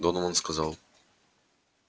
донован сказал